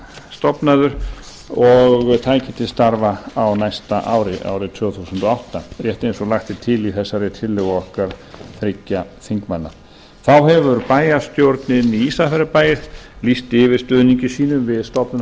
stofnaður og tæki til starfa á næsta ári árið tvö þúsund og átta rétt eins og lagt er til í þessari tillögu okkar þriggja þingmanna þá hefur bæjarstjórnin í ísafjarðarbæ lýst yfir stuðningi sínum við stofnun